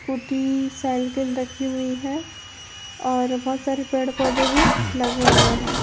Scooty cycle रखी हुई है और बहुत सारे पेड पौधे भी लगे हुए हैं।